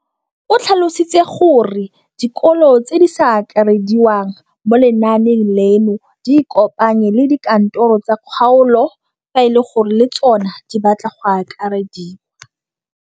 O tlhalositse gore dikolo tse di sa akarediwang mo lenaaneng leno di ikopanye le dikantoro tsa kgaolo fa e le gore le tsona di batla go akarediwa.